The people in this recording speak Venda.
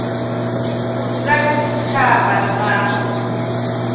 u dzula kha tshitshavha na